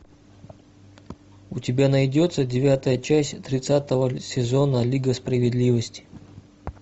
у тебя найдется девятая часть тридцатого сезона лига справедливости